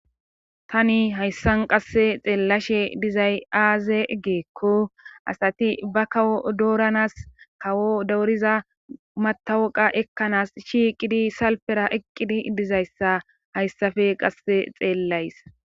tani hayssan qasse xeellashe dizay aaze giikko asati ba kawo dooranas kawo dowuriza matawoqa ekkanaas shiiqidi salpera eqqidi dizayssa hayssafe qasse xeellays